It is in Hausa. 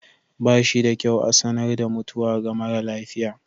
Ba shi da kyau a sanar da mutuwa ga mara lafiya.